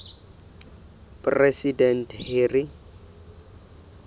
president harry